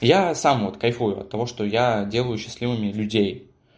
я сам вот кайфую от того что я делаю счастливыми людей